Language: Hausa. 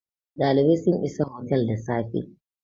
dalibai sun is hotel da safe